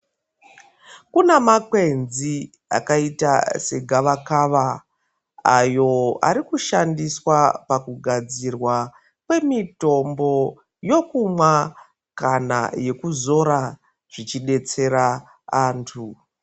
Kuna makwenzi akaita segavakava ayo arikushandiswa pakugadzirwa kwemitombo yokumwa kana yekuzora zvichidetsera antu.